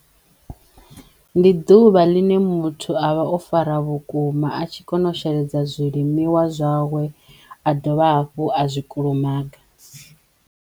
Ndi ḓuvha ḽine muthu avha o fara vhukuma a tshi kono u sheledza zwilimiwa zwawe a dovha hafhu a zwi kulumaga.